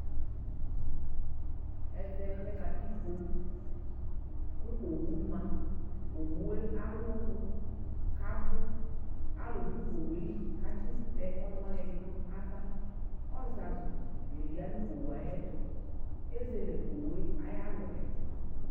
ɛvɛ lɛ katikpo kʋ owʋma owʋe alʋɔnʋ kabʋ alʋdʋ owʋeli katsitɛ ɔnʋ wani ɛdini nava ɔzazʋ dini ya nʋ owʋe ayuɛtʋ ezele owʋe ayʋalɔɛ